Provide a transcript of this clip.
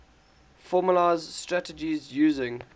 formalised strategies using